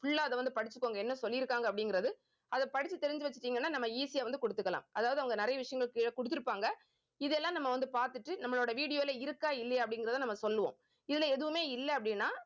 full ஆ அதை வந்து படிச்சுக்கோங்க. என்ன சொல்லியிருக்காங்க அப்படிங்கிறது அதை படிச்சு தெரிஞ்சு வச்சுட்டீங்கன்னா நம்ம easy ஆ வந்து குடுத்துக்கலாம். அதாவது அவங்க நிறைய விஷயங்கள் கீழ குடுத்திருப்பாங்க இதெல்லாம் நம்ம வந்து பாத்துட்டு நம்மளோட video ல இருக்கா இல்லையா அப்படிங்கிறதை நம்ம சொல்லுவோம் இதுல எதுவுமே இல்ல அப்படின்னா